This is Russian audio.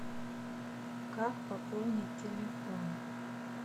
как пополнить телефон